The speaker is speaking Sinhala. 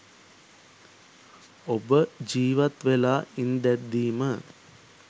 ඔබ ජීවත් වෙලා ඉන්දැද්දිම